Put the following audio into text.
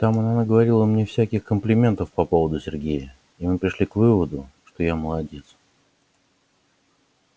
там она мне наговорила всяких комплиментов по поводу сергея и мы пришли к выводу что я молодец